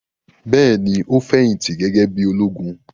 Bẹ́ẹ̀ ni, ó fẹ̀yìntì gẹ́gẹ́ bí i ológun.